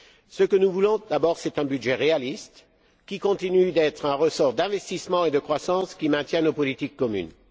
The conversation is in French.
Ce que nous voulons, d'abord, c'est un budget réaliste, qui continue d'être un ressort d'investissement et de croissance qui maintienne nos politiques communes.